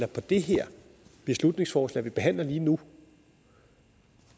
på det her beslutningsforslag vi behandler lige nu